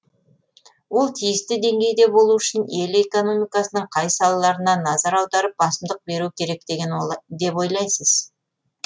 ол тиісті деңгейде болу үшін ел экономикасының қай салаларына назар аударып басымдық беру керек деп ойлайсыз